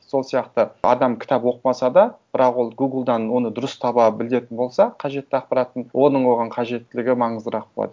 сол сияқты адам кітап оқымаса да бірақ ол гуглдан оны дұрыс таба білетін болса қажетті ақпаратын оның оған қажеттілігі маңыздырақ болады